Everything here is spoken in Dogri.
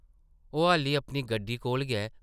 ओह् हाल्ली अपनी गड्डी कोल गै